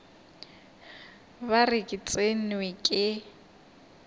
ba re ke tsenwe ke